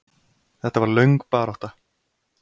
Þetta var löng barátta.